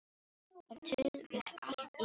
Ef til vill allt í senn.